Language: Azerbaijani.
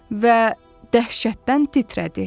Və dəhşətdən titrədi.